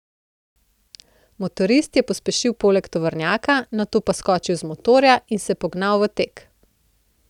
Motorist je pospešil poleg tovornjaka, nato pa skočil z motorja in se pognal v tek.